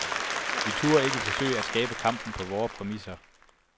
Vi turde ikke forsøge at skabe kampen på vore præmisser.